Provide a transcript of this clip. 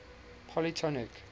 polytonic